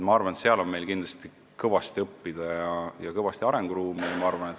Ma arvan, et selle koha pealt on meil kõvasti õppida ja kõvasti arenguruumi.